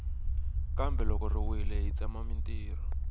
kambe loko yi wile yi tsema mintirho